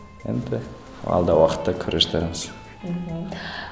енді алдағы уақытта көре жатармыз мхм